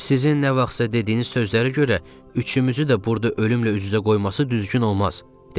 Sizin nə vaxtsa dediyiniz sözlərə görə üçümüzü də burda ölümlə üz-üzə qoyması düzgün olmaz, dedim.